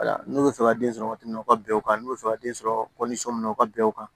N'u bɛ fɛ ka den sɔrɔ waati min na u ka bɛn o kan n'u bɛ fɛ ka den sɔrɔ kɔlisɔn u ka bɛn o kan